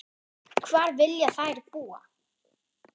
Hvar vilja þær búa?